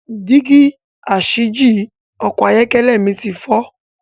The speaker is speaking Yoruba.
Dígí asìjì Ọkọ̀ ayọ́kẹ́lẹ̀ mi ti fọ.